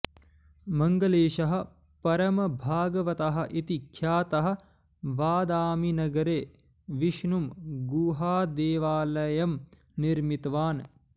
मङ्गळेशः परमभागवतः इति ख्यातः बादामीनगरे विष्णुं गुहादेवालयं निर्मितवान्